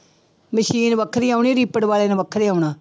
Machine ਵੱਖਰੀ ਆਉਣੀ reaper ਵਾਲੇ ਨੇ ਵੱਖਰੇ ਆਉਣਾ।